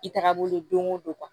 I tagabolo don o don